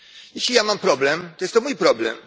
Jeśli ja mam problem, to jest to mój problem.